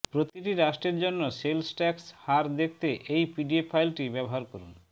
প্রতিটি রাষ্ট্রের জন্য সেলস ট্যাক্স হার দেখতে এই পিডিএফ ফাইলটি ব্যবহার করুন